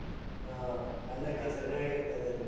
ಹಾ ಅನ್ನಕ್ಕೆ ಚೆನ್ನಾಗಿರ್ತದೆ ಅದು.